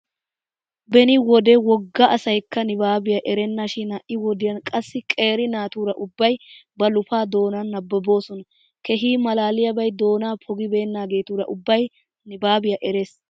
Beni wode wogga asaykka nibaabiya erennashin ha"i wodiyan qassi qeeri naatura ubbay ba lufa doonan nababoosona. Keehi maalaliyaabay doonaa pogibeenaageetura ubbay nibaabiya eres.